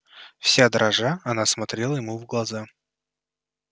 вся дрожа она смотрела ему в глаза